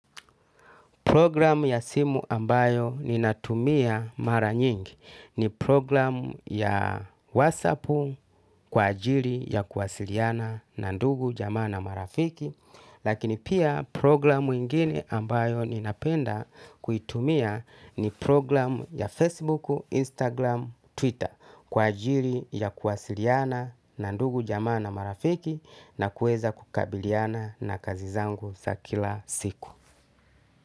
Programu ya simu ambayo ninatumia mara nyingi ni programu ya wasapu kwa ajili ya kuwasiliana na ndugu jamana marafiki. Lakini pia programu ingini ambayo ninapenda kuitumia ni programu ya Facebook, Instagram, Twitter kwa ajili ya kuwasiliana na ndugu jamana marafiki na kueza kukabiliana na kazi zangu za kila siku.